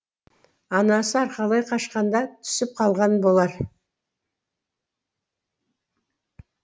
анасы арқалай қашқанда түсіп қалған болар